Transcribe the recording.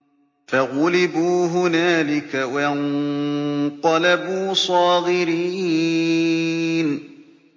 فَغُلِبُوا هُنَالِكَ وَانقَلَبُوا صَاغِرِينَ